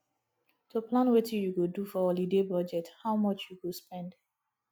to plan wetin you go do for holiday budget how much you go spend